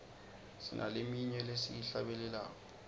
sinaleminye lesiyihlabelelako